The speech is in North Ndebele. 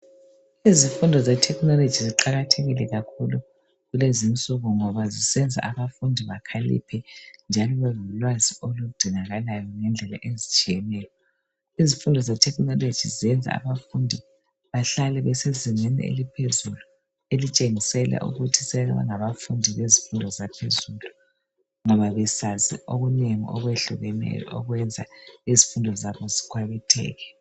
Izifundo zethekhinoloji ziqakathekile kakhulu kulezi insuku ngoba zisenza abafundi bakhaliphe njalo babelolwazi oludingakalayo ngendlela ezitshiyeneyo. Izifundo zethekhinoloji zenza abafundi bahlale besezingeni eliphezulu elitshengisela ukuthi sebengabafundi bezifundo zaphezulu ngoba besazi okunengi okwehlukeneyo okwenza izifundo zabo zikhwabitheke.